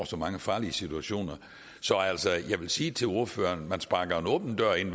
så mange farlige situationer så altså jeg vil sige til ordføreren man sparker en åben dør ind